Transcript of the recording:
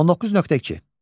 19.2.